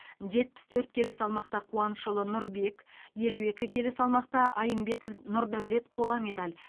жетпіс төрт келі салмақта қуанышұлы нұрбек елу екі келі салмақта аймбетов нұрдаулет қола медаль